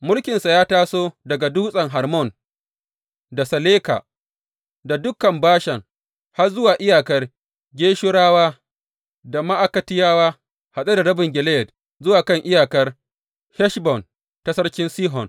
Mulkinsa ya taso daga Dutsen Hermon, da Saleka, da dukan Bashan har zuwa iyakar Geshurawa da Ma’akatiyawa haɗe da rabin Gileyad, zuwa kan iyakar Heshbon ta sarki Sihon.